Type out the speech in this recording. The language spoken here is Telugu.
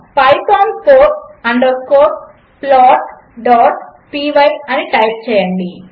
పైథాన్ ఫౌర్ అండర్ స్కోర్ plotపై అని టైప్ చేయండి